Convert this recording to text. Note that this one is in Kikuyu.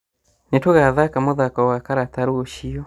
Nĩtũgathaka mũthako wa karata rũciũ